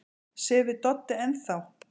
Sefur Doddi enn þá?